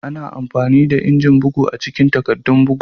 Ana amfani da injin bugu a cikin takaddun bugu.